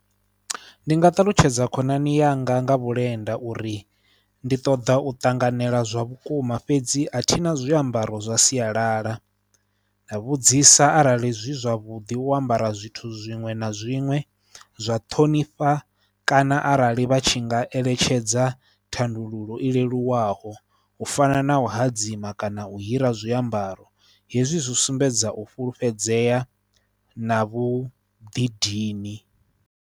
Ndi nga talutshedza khonani yanga nga vhulenda uri ndi ṱoḓa u ṱanganela zwa vhukuma fhedzi a thina zwiambaro zwa sialala, nda vhudzisa arali zwi zwavhuḓi u ambara zwithu zwiṅwe na zwiṅwe zwa ṱhonifha kana arali vha tshi nga eletshedza thandululo i leluwaho u fana na u hadzima kana u hira zwiambaro, hezwi zwi sumbedza u fhulufhedzea na vhuḓidini.